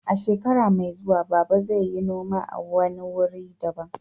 A shekara mai zuwa, Baba zai yi noma a wani wuri daban.